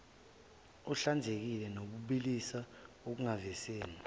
ohlanzekile nobilisiwe ekuvuziseni